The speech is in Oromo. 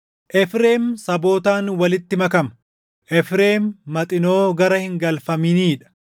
“Efreem sabootaan walitti makama; Efreem maxinoo gara hin galfaminii dha.